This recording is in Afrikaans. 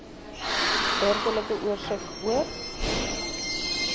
burgerlike oorsig oor